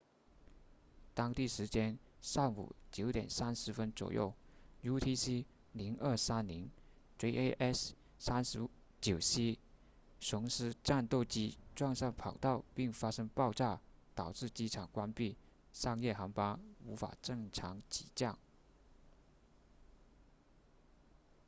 当地时间上午 9:30 左右 utc 0230 jas 39c 鹰狮战斗机撞上跑道并发生爆炸导致机场关闭商业航班无法正常起降